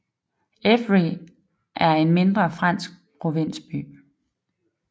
Évry er en mindre fransk provinsby